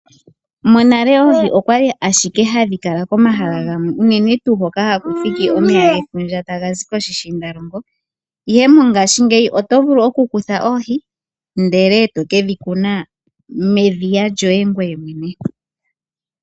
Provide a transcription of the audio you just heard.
Monale oohi okwa li ashike hadhi kala komahala gamwe unene tuu hoka ha ku thiki omeya gefundja ta ga zi koshishiindalongo, ihe mongaashingeyi oto vulu oku kutha oohi nde le to ke dhi kuna medhiya lyo ye ngoye mwene.